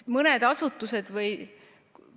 Mõne asutuse või ...